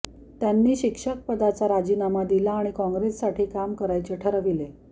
त्यांनी शिक्षक पदाचा राजीनामा दिला आणि कॉंग्रेससाठी काम करायचे ठरविले